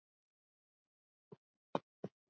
sonur, Siggi.